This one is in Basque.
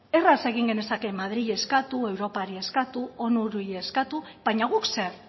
erraz egin genezake madrili eskatu europari eskari onuri eskatu baina guk zer